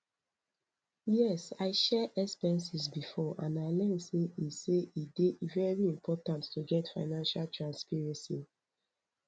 yes i share expenses before and i learn say e say e dey very important to get financial transparency